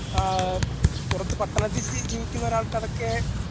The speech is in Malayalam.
ആഹ് പുറത്ത് പട്ടണത്തിൽ ജീവിക്കുന്നരാൾക്കാരൊക്കെ